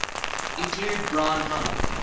include brine high